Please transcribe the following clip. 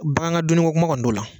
Bangan ka dunniko kuma kɔni t'o la